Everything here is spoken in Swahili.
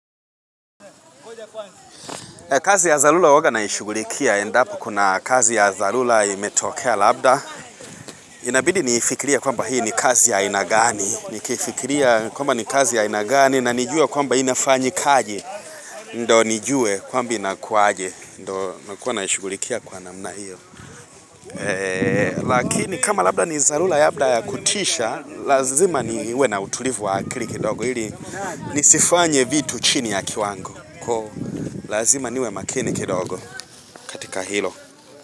Kazi ya dharula huwaga naishugulikia, endapo kuna kazi ya dharula imetokea labda. Inabidi nifikiria kwamba hii ni kazi ya inagani, nifikiria kwamba ni kazi ya inagani, na nijue kwamba inafanyi kaji, ndo nijue kwamba inakuaje, ndo nakuwa naishugulikia kwa namna hiyo. Lakini kama labda ni dhalula ya kutisha, lazima niwe na utulivu wa akili kidogo hili nisifanye vitu chini ya kiwango. Lazima niwe makini kidogo kaTika hilo.